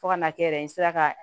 Fo ka n'a kɛ yɛrɛ n sera ka